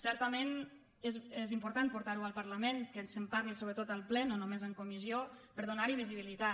certament és important portar ho al parlament que se’n parli sobretot al ple no només en comissió per donar hi visibilitat